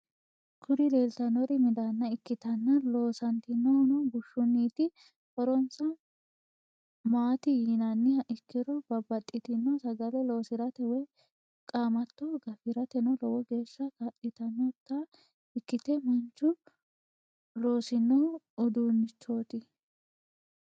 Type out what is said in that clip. Kuri leeltannori midaanna ikkitanna loosantannohuno bushshunnit. horonsa maati yinanniha ikkiro babaxitinno sagale loosirate woy qaamatto gafirateno lowo geeshsa kaa'litannota ikkite manchu loosinno uduunnichoti.